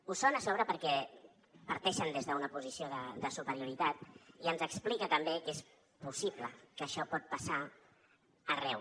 ho són a sobre perquè parteixen des d’una posició de superioritat i ens explica també que és possible que això pot passar arreu